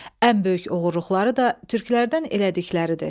Ən böyük oğruluqları da türklərdən elədikləridir.